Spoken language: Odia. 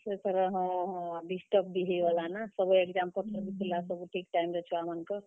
ସେଥର ହଁ ହଁ, disturb ବି ହେଇଗଲା ନା, ସବୁ exam ତ ସରିଥିଲା , ସବୁ ଠିକ୍ time ରେ ଛୁଆ ମାନଙ୍କର।